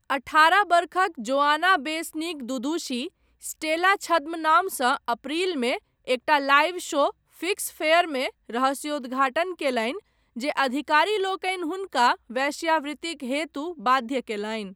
अठारह वर्षक Joanna Besnik Dudushi, Stella छद्मनामसँ अप्रैलमे एकटा लाइव शो 'फ़िक्स फ़ेयर'मे रहस्योद्घाटन कयलनि जे अधिकारीलोकनि हुनका वेश्यावृतिक हेतु बाध्य कयलनि।